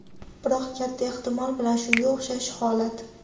Biroq katta ehtimol bilan shunga o‘xshash holat.